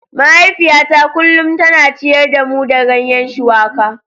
Mahaifiyata kullum tana ciyar da mu da ganye shuwaka.